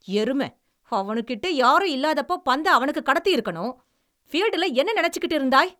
எரும. அவனுக்கிட்டே யாரும் இல்லாதப்ப பந்த அவனுக்கு கடத்தியிருக்கணும். ஃபீல்டுல என்ன நினைச்சுக்கிட்டு இருந்தாய்?